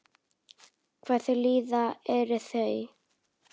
Hvað þau líða eru þau?